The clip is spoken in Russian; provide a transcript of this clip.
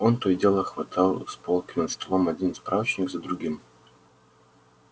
он то и дело хватал с полки над столом один справочник за другим